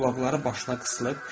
Qulaqları başa sıxılıb.